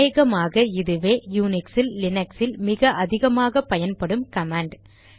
அநேகமாக இதுவே யுனிக்சில் லினக்ஸில் மிக அதிகமாக பயன்படும் கமாண்ட்